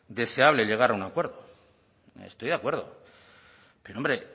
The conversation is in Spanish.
deseable llegar a un acuerdo estoy de acuerdo pero hombre